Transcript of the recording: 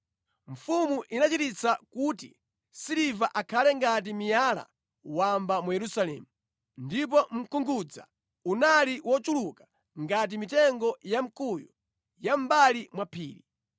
Mfumu inachititsa kuti siliva akhale ngati miyala wamba mu Yerusalemu, ndipo mkungudza unali wochuluka ngati mitengo ya mkuyu ya mʼmbali mwa phiri.